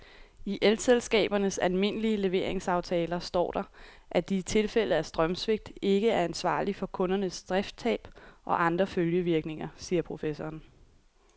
I elselskabernes almindelige leveringsaftaler står der, at de i tilfælde af strømsvigt ikke er ansvarlig for kundernes driftstab og andre følgevirkninger, siger professoren.